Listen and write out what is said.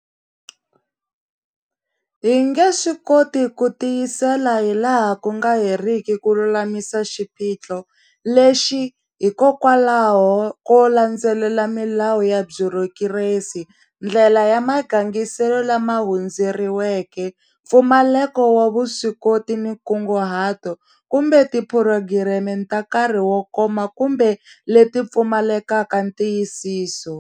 Hi nge swi koti ku tiyisela hi laha ku nga heriki ku lulamisa xiphiqo lexi hikokwalaho ko landzelela milawu ya byurokiresi, ndlela ya magangiselo lama hundzeriweke, mpfumaleko wa vuswikoti ni nkunguhato, kumbe tiphurogireme ta nkarhi wo koma kumbe leti pfumalekaka ntiyisiso.